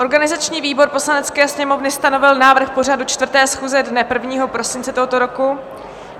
Organizační výbor Poslanecké sněmovny stanovil návrh pořadu 4. schůze dne 1. prosince tohoto roku.